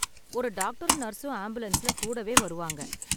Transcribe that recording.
ஒரு டாக்டரும் நர்ஸும் ஆம்புலன்ஸ்ல கூடவே வருவாங்க.